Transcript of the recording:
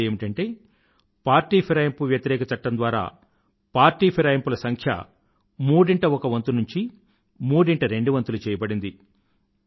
రెండవది ఏమిటంటే పార్టీ ఫిరాయింపు వ్యతిరేక చట్టం ద్వారా పార్టీ ఫిరాయింపుల సంఖ్య మూడింట ఒక వంతు నుండీ ముడింట రెండువంతులు చెయ్యబడింది